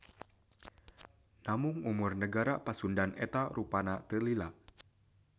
Namung umur Negara Pasundan eta rupana teu lila.